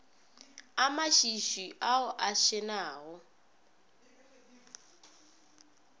a mašwišwi ao a šenago